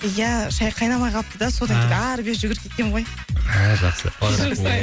иә шәй қайнамай қалыпты да содан кейін ары бері жүгіріп кеткенмін ғой а жақсы кешірім сұраймын